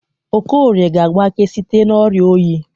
Okorie ga-agbake site n'ọrịa oyi.